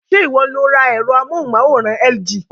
Ṣé ìwọ lo ra ẹ̀rọ amóhùnmáwòrán LG?